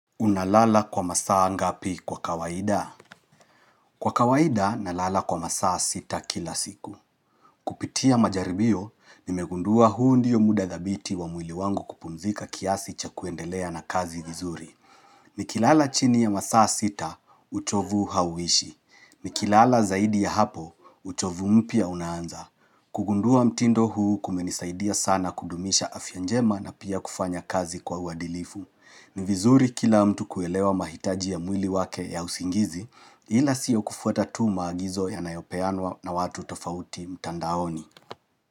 Unalala kwa masaa ngapi kwa kawaida? Kwa kawaida, nalala kwa masaa sita kila siku. Kupitia majaribio, nimegundua huundio muda dhabiti wa mwili wangu kupumzika kiasi cha kuendelea na kazi vizuri. Nikilala chini ya masaa sita, uchovu hauishi. Nikilala zaidi ya hapo, uchovu mpya unaanza. Kugundua mtindo huu kumenisaidia sana kudumisha afyanjema na pia kufanya kazi kwa uadilifu. Ni vizuri kila mtu kuelewa mahitaji ya mwili wake ya usingizi ila siyo kufuata tu maagizo ya nayopeanwa na watu tofauti mtandaoni.